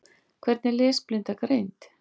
Hvernig er lesblinda greind?